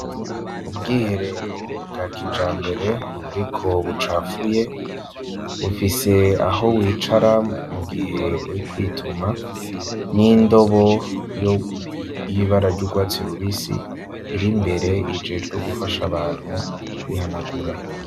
Ubwiherero bwa kija mbere, ariko bucapfuye bufise aho wicara mu gihe we kwituma n'indobo oy'ibara ry'urwatsi rubisi iri mbere ijeejwo gufasha abantu kwihanagura.